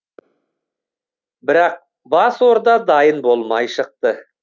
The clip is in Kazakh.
бірақ бас орда дайын болмай шықты